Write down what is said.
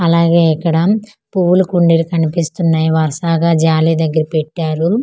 అలాగే ఇక్కడ పువ్వుల కుండీలు కనిపిస్తున్నాయ్ వరసాగా జాలీ దగ్గర పెట్టారు.